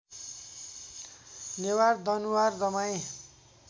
Newar Danuwar Damai